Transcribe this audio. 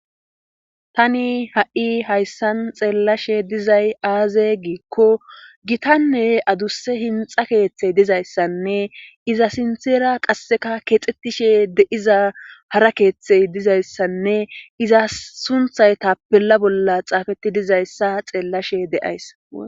tani ha7i hayssan xeellashe dizay aaze giikko gitanne adusse hinxa keeththey dizayssanne iza sintera qasseka keexxetishe deiza hara keeththey dizayssanne iza sunthay tapella bolla xaafeti dizayssa xeellashe de7ays